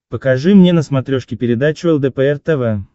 покажи мне на смотрешке передачу лдпр тв